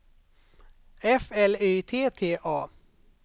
F L Y T T A